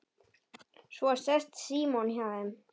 Svo sest Símon hjá þeim